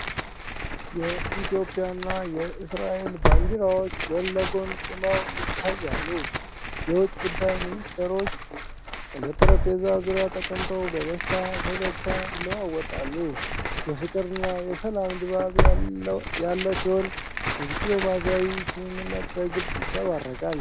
ኢትዮጵያና እስራኤል ባንዲራዎች ጎን ለጎን ቆመው ይታያሉ። የውጭ ጉዳይ ሚኒስትሮች በጠረጴዛ ዙሪያ ተቀምጠው በደስታ ፈገግታ ይለዋወጣሉ። የፍቅርና የሰላም ድባብ ያለ ሲሆን፣ የዲፕሎማሲያዊ ስምምነት በግልጽ ይንጸባረቃል።